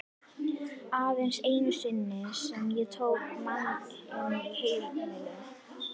Aðeins einu sinni sem ég tók mann inn á heimil.